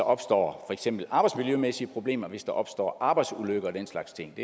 opstår arbejdsmiljømæssige problemer hvis der opstår arbejdsulykker og den slags ting